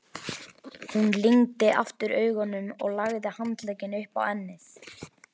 Hún lygndi aftur augunum og lagði handlegginn upp á ennið.